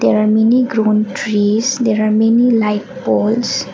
there are many grown trees there are many light polls.